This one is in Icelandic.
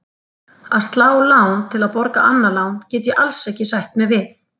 Að slá lán til að borga annað lán get ég alls ekki sætt mig við.